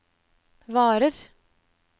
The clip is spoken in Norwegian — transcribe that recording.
varer